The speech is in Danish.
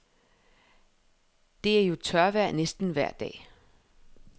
Det er jo tørvejr næsten vejr dag.